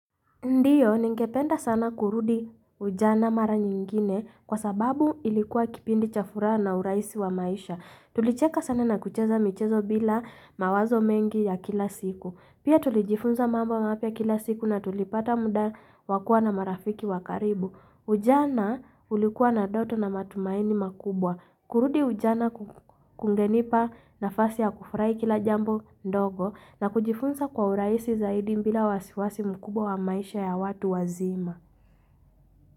Ndiyo, ningependa sana kurudi ujana mara nyingine kwa sababu ilikuwa kipindi cha furaha na uraisi wa maisha. Tulicheka sana na kucheza michezo bila mawazo mengi ya kila siku. Pia tulijifunza mambo mapya kila siku na tulipata muda wakuwa na marafiki wa karibu. Ujana ulikuwa na ndoto na matumaini makubwa. Kurudi ujana kungenipa nafasi ya kufurai kila jambu ndogo na kujifunza kwa uraisi zaidi bila wasiwasi mkubwa wa maisha ya watu wazima.